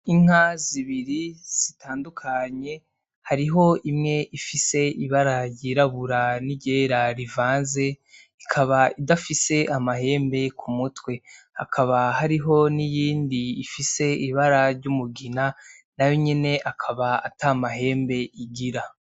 Inka zibiri zitandukanye, hariho imwe ifise ibara ryirabura n'iryera bivanze ikaba idafise amahembe ku mutwe. Hakaba hariho n'iyindi ifise ibara ry'umugina, nayo nyene akaba ata mahembe igira.